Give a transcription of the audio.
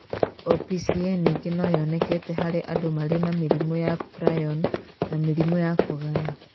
OPCA ningĩ no yoneke harĩ andũ marĩ na mĩrimũ ya prion na mĩrimũ ya kũgaya.